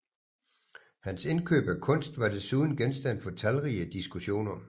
Hans indkøb af kunst var desuden genstand for talrige diskussioner